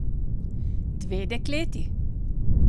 Dve dekleti?